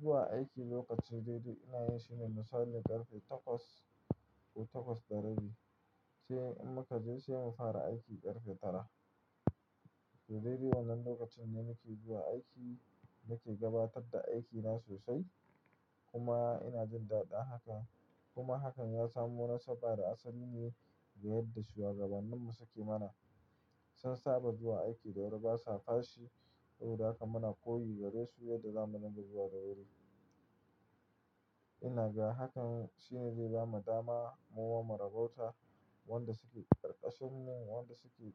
Zuwa aiki lokaci daidai ina yin shine misalin ƙarfe takwas ko takwas da rabi, sai in muka je sai mu fara aiki ƙarfe tara. Daidai wannan lokacin ne nake zuwa aiki nake gabatar da aikina sosai kuma ina jin daɗin haka. Kuma hakan ya samo nasaba da asali ne ga yadda shuwagabanninmu suke mana. Sun saba zuwa aiki da wuri basa fashi, saboda haka muna koyi gare su yadda zamu dinga zuwada wuri. Ina ga hakan shine zai bamu dama muma mu rabauta wanda suke ƙarƙashinmu, wanda suke